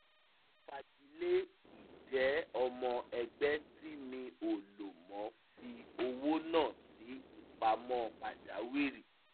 mo fagilé ìjẹ́ ọmọ ẹgbẹ́ tí mi ò lo mo fi owó náà sí ìpamọ́ pàjáwìrì